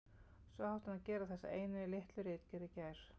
Svo átti hann að gera þessa einu litlu ritgerð í gær.